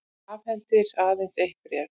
Afhendir aðeins eitt bréf